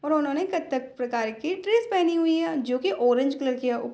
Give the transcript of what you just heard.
उन्होंने कत्थक प्रकार की ड्रेस पेहनी हुई है जो की ऑरेंज कलर की है।